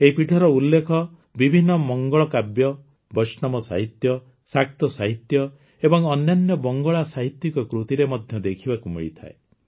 ଏହି ପୀଠର ଉଲ୍ଲେଖ ବିଭିନ୍ନ ମଙ୍ଗଳକାବ୍ୟ ବୈଷ୍ଣବ ସାହିତ୍ୟ ଶାକ୍ତ ସାହିତ୍ୟ ଏବଂ ଅନ୍ୟାନ୍ୟ ବଙ୍ଗଳା ସାହିତ୍ୟିକ କୃତିରେ ମଧ୍ୟ ଦେଖିବାକୁ ମିଳିଥାଏ